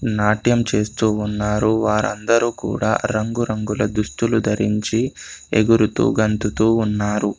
నాట్యం చేస్తూ ఉన్నారు. వారందరూ కూడా రంగురంగుల దుస్తులు ధరించి ఎగురుతూ గంతుతూ ఉన్నారు.